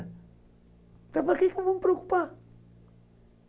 Então para que eu vou me preocupar?